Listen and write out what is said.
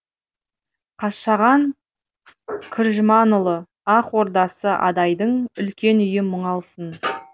қашаған күржіманұлы ақ ордасы адайдың үлкен үйім мұңалсың